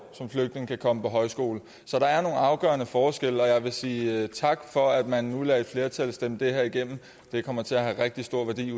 kan komme på højskole som så der er nogle afgørende forskelle og jeg vil sige tak for at man nu lader et flertal stemme det her igennem det kommer til at have rigtig stor værdi